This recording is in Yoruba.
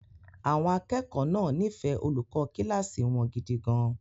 Àwọn akẹ́kọ̀ọ́ náà nífẹ̀ẹ́ olùkọ́ kíláàsì wọn gidi gan-an.